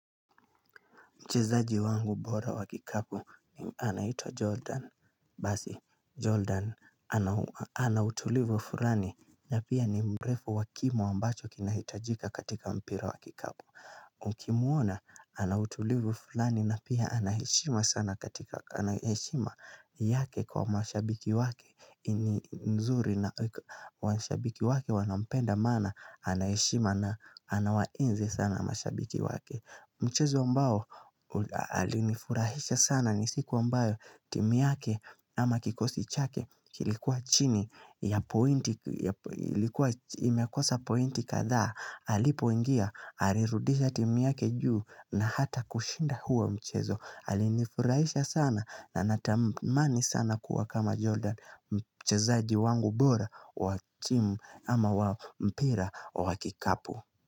Mchezaji wangu bora wakikapu, anaitwa Jordan, basi, Jordan, anautulivu fulani, na pia ni mrefu wakimo ambacho kinahitajika katika mpira wakikapu. Ukimuona, anautulivu fulani na pia anaheshima sana katika, anaheshima yake kwa mashabiki wake, ini nzuri na mashabiki wake wanampenda mana, anaheshima na anawainzi sana mashabiki wake. Mchezo ambao alinifurahisha sana nisiku ambayo timu yake ama kikosi chake kilikuwa chini ya pointi katha alipo ingia alirudisha timu yake juu na hata kushinda huo mchezo alinifurahisha sana na natamani sana kuwa kama Jordan mchezaji wangu bora wa timu ama wa mpira wa kikapu.